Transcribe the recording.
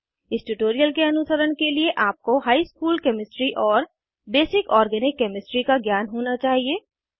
इस ट्यूटोरियल के अनुसरण के लिए आपको हाई स्कूल केमिस्ट्री और बेसिक ऑर्गैनिक केमिस्ट्री का ज्ञान होना चाहिए